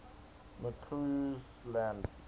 mccausland